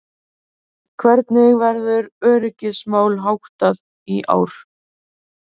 Hvernig verður öryggismálum háttað í ár?